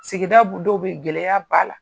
Sigida dɔw be yen gɛlɛya b'a la.